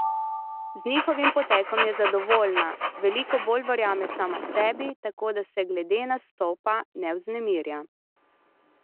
Z njihovim potekom je zadovoljna, veliko bolj verjame sama sebi, tako da se glede nastopa ne vznemirja.